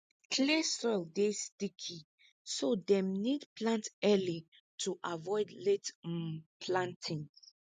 clay soil dey sticky so dem need plant early to avoid late um planting